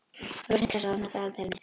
Rósinkransa, opnaðu dagatalið mitt.